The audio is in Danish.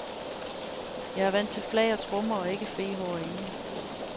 Jeg var vant til flag og trommer og ikke fehår og engle.